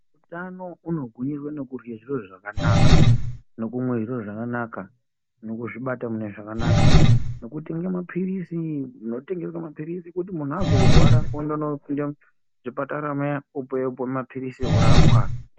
Utano unogwinyiswa nokudrwa zviro zvakanaka, nokumwa zviro zvakanaka ,nokuzvibata mune zvakanaka, nokutenga maphirisi munotengeswa maphirisi kuti muntu azorwara ondonopinda muzvipatara muya opuwa maphirisi orapwa